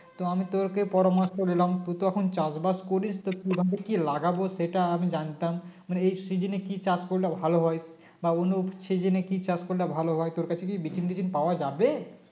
তো আমি তোরকে পরামর্শ নিলাম তুই তো এখন চাষবাস করিস তো কিভাবে কি লাগাবো সেটা আমি জানতাম মানে এই সিজিনে কি চাষ করলে ভালো হয় বা অন্য সিজিনে কি চাষ করলে ভালো হয় তোর কাছে কি বিচিন টিচিন পাওয়া যাবে